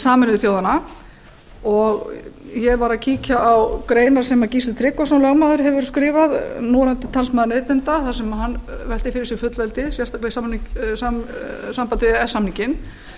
sameinuðu þjóðanna og ég var að kíkja á greinar sem gísli tryggvason lögmaður hefur skrifað núverandi talsmaður neytenda þar sem hann veltir fyrir sér fullveldi sérstaklega í sambandi við e e s samninginn